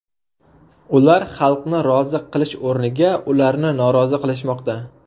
Ular xalqni rozi qilish o‘rniga ularni norozi qilishmoqda.